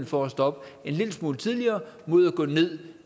for at stoppe en lille smule tidligere mod at gå ned